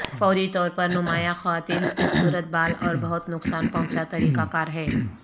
فوری طور پر نمایاں خواتین خوبصورت بال اور بہت نقصان پہنچا طریقہ کار ہے